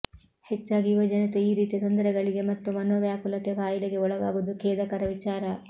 ಹೆಚ್ಚಾಗಿ ಯುವಜನತೆ ಈ ರೀತಿಯ ತೊಂದರೆಗಳಿಗೆ ಮತ್ತು ಮನೋವ್ಯಾಕುಲತೆ ಖಾಯಿಲೆಗೆ ಒಳಾಗುವುದು ಖೇದಕರ ವಿಚಾರ